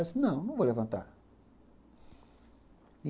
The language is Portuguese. Eu disse, não, não vou levantar.